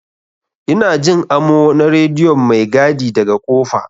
Ina Jin amo na rediyon maigadi daga kofa.